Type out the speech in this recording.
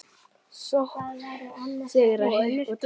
Sókn, sigrar, hik og tap.